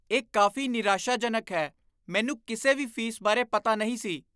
ਇਹ ਕਾਫ਼ੀ ਨਿਰਾਸ਼ਾਜਨਕ ਹੈ। ਮੈਨੂੰ ਕਿਸੇ ਵੀ ਫ਼ੀਸ ਬਾਰੇ ਪਤਾ ਨਹੀਂ ਸੀ।